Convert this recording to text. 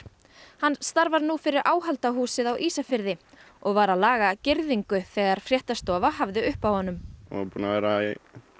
hann starfar nú fyrir á Ísafirði og var að laga girðingu þegar fréttastofa hafði upp á honum búinn að vera í